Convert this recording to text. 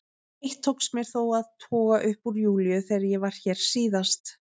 Eitt tókst mér þó að toga upp úr Júlíu þegar ég var hér síðast.